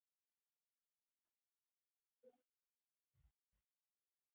Þú ert ekkert slasaður.